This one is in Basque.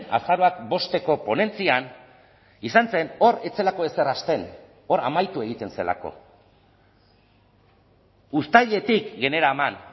azaroak bosteko ponentzian izan zen hor ez zelako ezer hasten hor amaitu egiten zelako uztailetik generaman